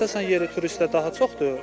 Əsasən yerli turistlər daha çoxdur.